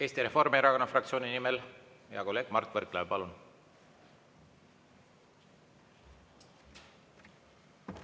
Eesti Reformierakonna fraktsiooni nimel hea kolleeg Mart Võrklaev, palun!